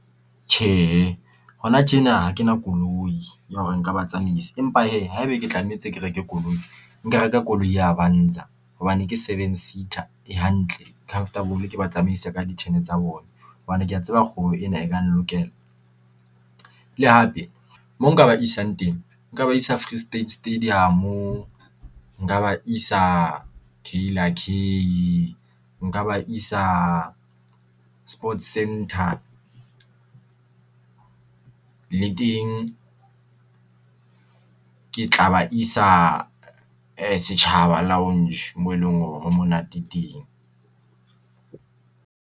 Tjhehe hona tjena ha kena koloi ya hore nka ba tsamaisa. Empa hee haeba ke tlamehetse ke reke koloi, nka reka koloi ya Avansa. Hobane ke seven seater e hantle e comfortable ke ba tsamaisa ka di-turn tsa bona, hobane kea tseba kgwebo ena e ka nlokela. Le hape mo nka ba isang teng nka ba isa Free State stadium-o, nka ba isa nka ba isa sports center. Le teng ke tla ba isa Setjhaba Lounge mo e leng hore ho monate teng.